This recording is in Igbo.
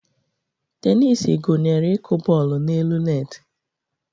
Tenis gụnyere ịkụ bọọlụ n'elu netị.